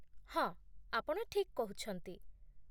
ହଁ, ଆପଣ ଠିକ୍ କହୁଛନ୍ତି